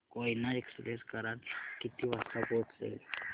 Koyna express Karad ला किती वाजता पोहचेल